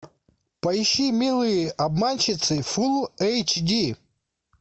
поищи милые обманщицы фул эйч ди